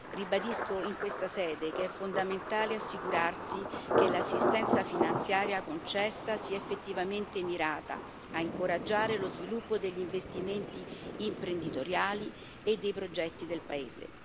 Ribadisco in questa sede che è fondamentale assicurarsi che l'assistenza finanziaria concessa sia effettivamente mirata a incoraggiare lo sviluppo degli investimenti imprenditoriali e dei progetti del paese.